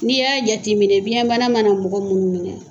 N'i y'a jateminɛ biyɛnbana mana mɔgɔ minnu minɛ